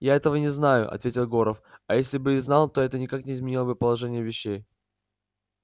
я этого не знаю ответил горов а если бы и знал то это никак не изменило бы положения вещей